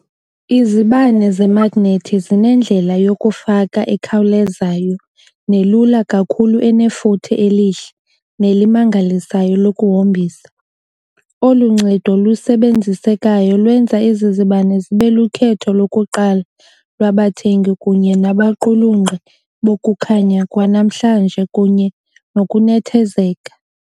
Izibane zemagnethi zinendlela yokufaka ekhawulezayo nelula kakhulu enefuthe elihle nelimangalisayo lokuhombisa, olu ncedo lusebenzisekayo lwenza ezi zibane zibe lukhetho lokuqala lwabathengi kunye nabaqulunqi bokukhanya kwanamhlanje kunye nokunethezeka.